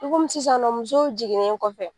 I komi sisan nɔ musow jiginnen kɔfɛ.